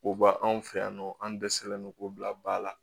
O ba anw fɛ yan nɔ an dɛsɛlen don k'o bila ba la